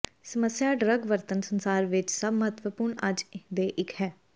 ਸਮੱਸਿਆ ਡਰੱਗ ਵਰਤਣ ਸੰਸਾਰ ਵਿੱਚ ਸਭ ਮਹੱਤਵਪੂਰਨ ਅੱਜ ਦੇ ਇੱਕ ਹੈ